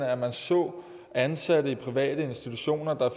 at man så ansatte i private institutioner der